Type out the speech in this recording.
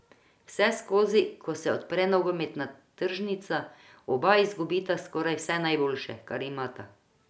Vseskozi, ko se odpre nogometna tržnica, oba izgubita skoraj vse najboljše, kar imata.